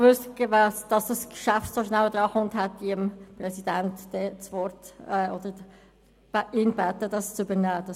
Hätte ich gewusst, dass dieses Geschäft so schnell an die Reihe kommt, hätte ich den Präsidenten gebeten, mein Votum zu übernehmen.